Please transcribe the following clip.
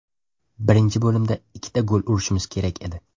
Birinchi bo‘limda ikkita gol urishimiz kerak edi.